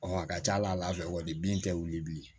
a ka ca ala fɛ wali bin tɛ wuli bilen